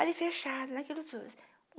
Ali fechado, naquilo tudo.